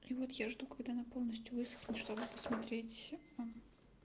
и вот я жду когда она полностью высохнет чтобы посмотреть а